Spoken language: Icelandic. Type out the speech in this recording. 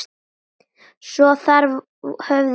Svo þar höfum við það.